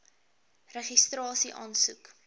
registrasieaansoek